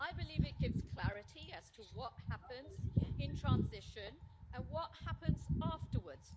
I believe it gives clarity as to what happens in transition and what happens afterwards.